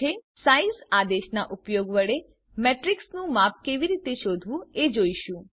હવે આપણે સાઇઝ આદેશનાં ઉપયોગ વડે મેટ્રીક્સનું માપ કેવી રીતે શોધવું એ જોઈશું